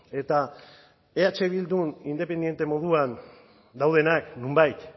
eta eh bildu independiente moduan daudenak nonbait